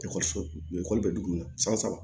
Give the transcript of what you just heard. ekɔli bɛ dugu min na san saba